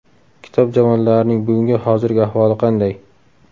Kitob javonlarning bugungi hozirgi ahvoli qanday?